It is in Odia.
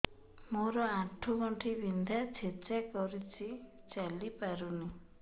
ମୋର ଆଣ୍ଠୁ ଗଣ୍ଠି ବିନ୍ଧା ଛେଚା କରୁଛି ଚାଲି ପାରୁନି